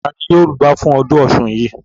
Ta Ni yóò rugbá fún ọdún ọ̀ṣun yìí?